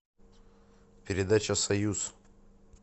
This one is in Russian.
передача союз